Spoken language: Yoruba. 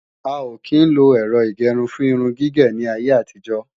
A ò kí ń lo Ẹ̀rọ ìgẹrun fún irun gígé ní ayé àtijọ́